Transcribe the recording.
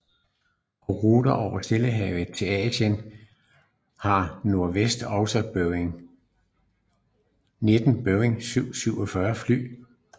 På ruter over Stillehavet til Asien har Northwest også 19 Boeing 747 fly